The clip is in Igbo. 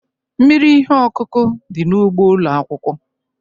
Mmiri ihe ọkụkụ dị n'ugbo ụlọ akwụkwọ.